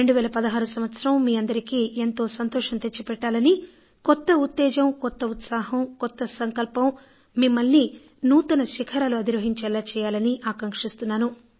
2016 సంవత్సరం మీ అందరికీ ఎంతో సంతోషం తెచ్చిపెట్టాలనీ కొత్త ఉత్తేజం కొత్త ఉత్సాహం కొత్త సంకల్పం మిమ్మల్ని కొత్త శిఖరాలు అధిరోహించేలా చేయాలనీ ఆకాంక్షిస్తున్నాను